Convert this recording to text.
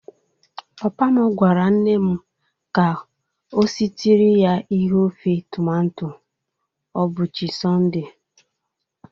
Papa m gwara nne m ka ọ sitiri ya ihe ofe tomato o buchi Sọnde.